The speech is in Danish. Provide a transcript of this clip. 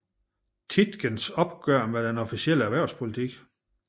Tietgens opgør med den officielle erhvervspolitik